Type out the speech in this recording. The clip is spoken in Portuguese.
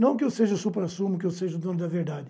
Não que eu seja o supra-sumo, que eu seja o dono da verdade,